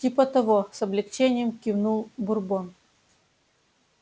типа того с облегчением кивнул бурбон